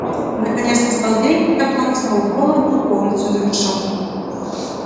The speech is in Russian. наконец настал день когда план сноуболла был полностью завершён